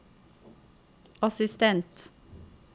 assistent